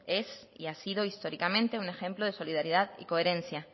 es y ha sido históricamente un ejemplo de solidaridad y coherencia